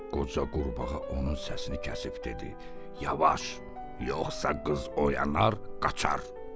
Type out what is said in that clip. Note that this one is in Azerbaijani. Qoca qurbağa onun səsini kəsib dedi: "Yavaş, yoxsa qız oyanar, qaçar".